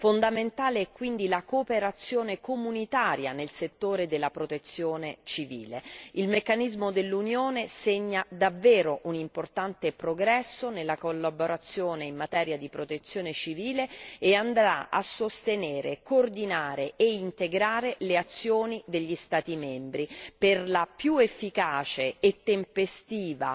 Fondamentale è quindi la cooperazione comunitaria nel settore della protezione civile. Il meccanismo dell'Unione segna davvero un importante progresso nella collaborazione in materia di protezione civile e andrà a sostenere, coordinare e integrare le azioni degli Stati membri per una più efficace e tempestiva